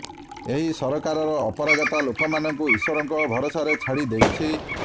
ଏହି ସରକାରର ଅପାରଗତା ଲୋକମାନଙ୍କୁ ଇଶ୍ବରଙ୍କ ଭରସାରେ ଛାଡ଼ି ଦେଇଛି